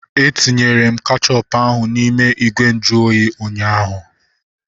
Etinyere m kechọpu ahu n'ime ìgwè nju oyi ụnyaahụ